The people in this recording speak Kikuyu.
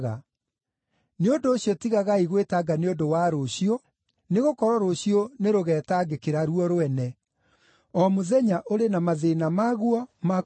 Nĩ ũndũ ũcio tigagai gwĩtanga nĩ ũndũ wa rũciũ, nĩgũkorwo rũciũ nĩrũgetangĩkĩra ruo rwene. O mũthenya ũrĩ na mathĩĩna maguo ma kũũigana.